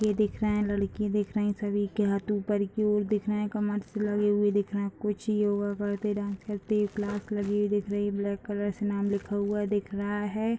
ये दिख रहे हैं लड़की दिख रही सभी के हाथ ऊपर की ओर दिख रहे हैं कमर से लगा हुआ दिख रहे हैं। कुछ योगा करते डांस करते हुए क्लास लगी हुई दिख रही है। ब्लैक कलर से नाम लिखा हुआ दिख रहा है।